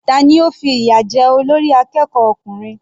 Tani ó fi ìyà jẹ olórí akẹ́kọ̀ọ́ ọkùnrin?